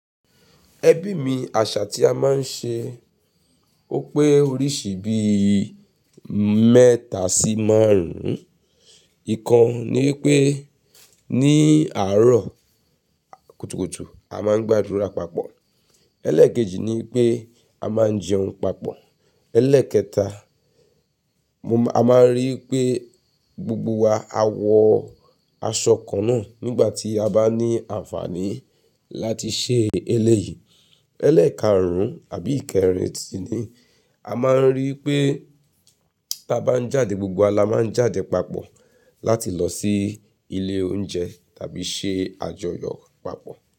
Ẹbí mi àṣà tí a máa ń ṣe ó pé oríṣi bí i mẹ́ta sí márùn-ún. Ìkan ni pé ní àárọ̀ kùtùkùtù a máa ń gbàdúrà papọ̀. Élékèjì ni pé a máa ń jẹun papọ̀. Élékẹta, mo máa, a máa ń rí i pé gbogbo wa a wọ aṣọ kan náà nígbà tí a bá ní àǹfààní láti ṣe ẹlẹ́yìí. Élékàrùn àbí ìkẹrin sì ni a máa ń rí i pé tí a bá ń jáde gbogbo wa la máa ń jáde papọ̀ láti lọ sí ilé oúnjẹ tàbí ṣe àjọyọ̀ papọ̀